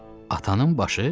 Atanın başı?